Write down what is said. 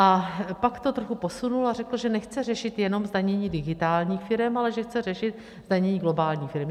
A pak to trochu posunul a řekl, že nechce řešit jenom zdanění digitálních firem, ale že chce řešit zdanění globálních firem.